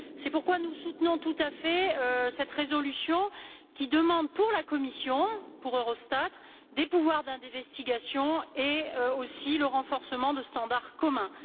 C'est pourquoi nous soutenons tout à fait cette résolution qui demande pour la Commission, pour Eurostat, des pouvoirs d'investigation ainsi que le renforcement de standards communs.